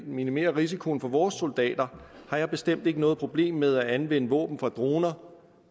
minimere risikoen for vores soldater har jeg bestemt ikke noget problem med at anvende våben fra droner